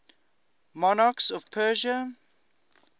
monarchs of persia